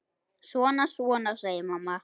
Svona, svona, segir mamma.